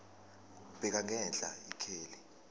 bheka ngenhla ikheli